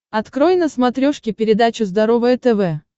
открой на смотрешке передачу здоровое тв